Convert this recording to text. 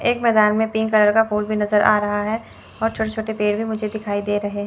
एक मैदान में पिंक कलर का फूल भी नजर आ रहा है और छोटे छोटे पेड़ भी मुझे दिखाई दे रहे है।